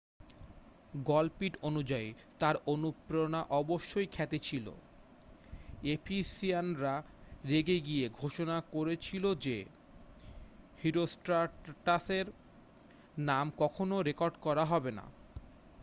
গল্প্টি অনুযায়ী তাঁর অনুপ্রেরণা অবশ্যই খ্যাতি ছিল এফিসিয়ানরা রেগে গিয়ে ঘোষণা করেছিল যে হিরোষ্ট্রাটাসের নাম কখনও রেকর্ড করা হবে না